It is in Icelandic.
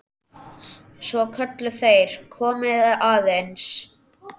Svo kölluðu þeir: Komiði aðeins!